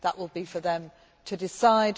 That will be for them to decide.